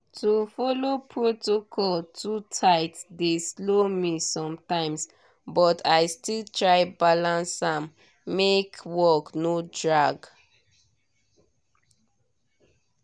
to follow protocol too tight dey slow me sometimes but i still try balance am make work no drag.